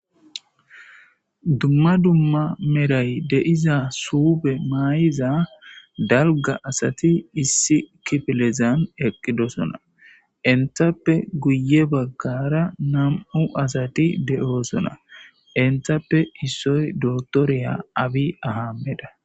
dumma dumma meray de'iza suufe maayiza dalga asati issi kifilezan eqqidosona enthappe guye baggara nam'u asati de'oosona entappe issoy dotoreya abi ahameda